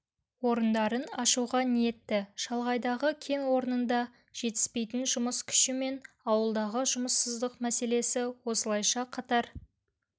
орындарын ашуға ниетті шалғайдағы кен орнында жетіспейтін жұмыс күші мен ауылдағы жұмыссыздық мәселесі осылайша қатар